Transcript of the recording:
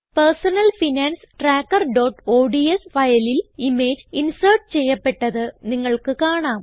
personal finance trackerഓഡ്സ് ഫയലിൽ image insert ചെയ്യപ്പെട്ടത് നിങ്ങൾക്ക് കാണാം